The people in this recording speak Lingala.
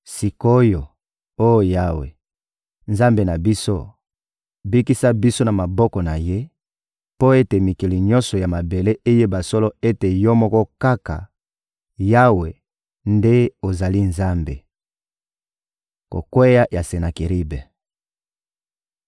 Sik’oyo, oh Yawe, Nzambe na biso, bikisa biso na maboko na ye, mpo ete mikili nyonso ya mabele eyeba solo ete Yo moko kaka, Yawe, nde ozali Nzambe.» Kokweya ya Senakeribe